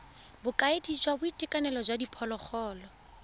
bokaedi jwa boitekanelo jwa diphologolo